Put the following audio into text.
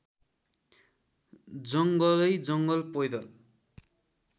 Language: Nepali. जङ्गलैजङ्गल पैदल